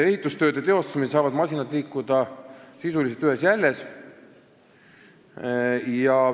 Ehitustööde teostamisel saavad masinad liikuda sisuliselt ühes jäljes.